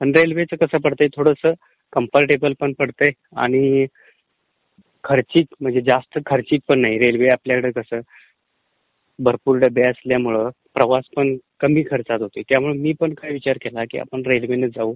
रेल्वेचं कसं पडतयं थोडं कम्फर्टेबल होतयं आणि खर्चिंक म्हणजे जास्त खर्चिंकपण नाही. रेल्वे म्हणजे आपल्याकडे कसं भरपूर डब्बे असल्यामुळं प्रवासपण कमी खर्चात होतो. त्यामुळे मी पण काय विचार केला की आपण रेल्वेने जाऊ